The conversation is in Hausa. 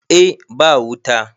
eh ba wuta